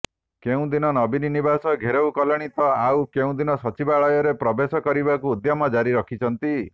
କେଉଁଦିନ ନବୀନ ନିବାସ ଘେରାଉ କଲେଣି ତ ଆଉ କେଉଁଦିନ ସଚିବାଳୟରେ ପ୍ରବେଶ କରିବାକୁ ଉଦ୍ୟମ ଜାରି ରଖିଛନ୍ତି